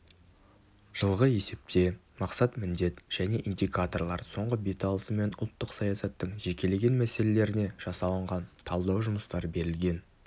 жылғы есепте мақсат міндет және индикаторлар соңғы беталысы мен ұлттық саясаттың жекелеген мәселелеріне жасалынған талдау жұмыстары берілген